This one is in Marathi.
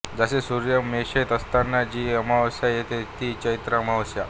जसे सूर्य मेषेत असताना जी अमावास्या येते ती चैत्र अमावास्या